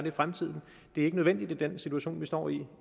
i fremtiden det er ikke nødvendigt i den situation vi står i